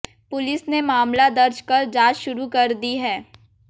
police ने मामाल दर्ज कर जांच शुरू कर दी है